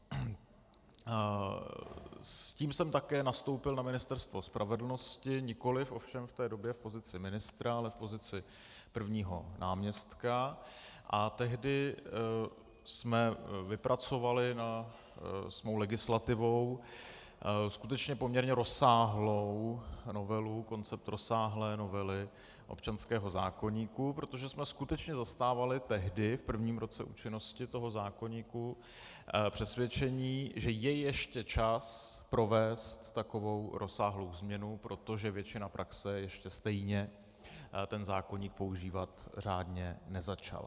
S tím jsem také nastoupil na Ministerstvo spravedlnosti, nikoliv ovšem v té době v pozici ministra, ale v pozici prvního náměstka, a tehdy jsme vypracovali s mou legislativou skutečně poměrně rozsáhlou novelu, koncept rozsáhlé novely občanského zákoníku, protože jsme skutečně zastávali tehdy, v prvním roce účinnosti toho zákoníku, přesvědčení, že je ještě čas provést takovou rozsáhlou změnu, protože většina praxe ještě stejně ten zákoník používat řádně nezačala.